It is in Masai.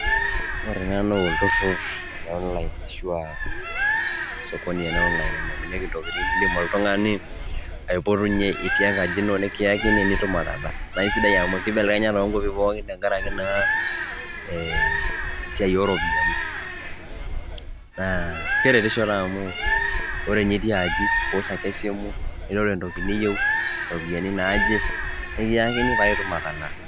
Ore ena naa olturrur le online ashu a sokoni ena e online nainyang'unyeki ntokitin, niindim oltung'ani aipotunye itii enkaji ino nekiyakini nitum atalaa. Nae sidai amu kibelekenya naa too nkuapi pookin tenkaraki naa ee esiai o ropiani naa keretisho taa amu ore nye iti aji niwosh esimu niroro entoki niyiu, iropiani naaje, nekiyakini paaaye itum atalaa.